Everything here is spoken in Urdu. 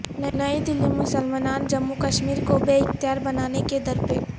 نئی دلی مسلمانان جموں کشمیر کو بے اختیار بنانے کے درپے